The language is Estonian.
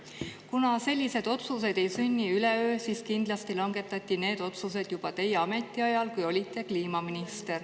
Kuna sellised otsused ei sünni üleöö, siis kindlasti langetati need otsused juba teie ametiajal, kui olite kliimaminister.